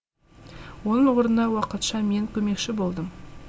оның орнына уақытша мен көмекші болдым